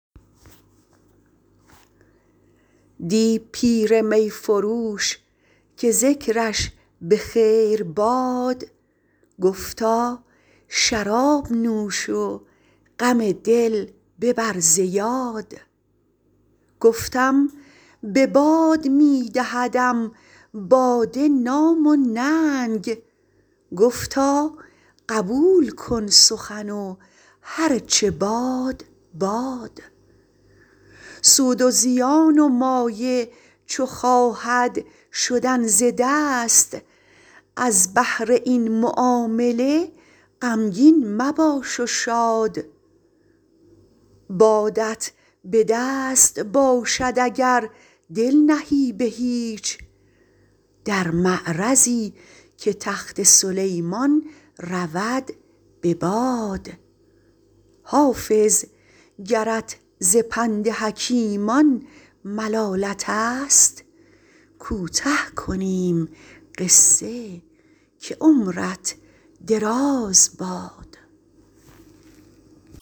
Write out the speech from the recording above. دی پیر می فروش که ذکرش به خیر باد گفتا شراب نوش و غم دل ببر ز یاد گفتم به باد می دهدم باده نام و ننگ گفتا قبول کن سخن و هر چه باد باد سود و زیان و مایه چو خواهد شدن ز دست از بهر این معامله غمگین مباش و شاد بادت به دست باشد اگر دل نهی به هیچ در معرضی که تخت سلیمان رود به باد حافظ گرت ز پند حکیمان ملالت است کوته کنیم قصه که عمرت دراز باد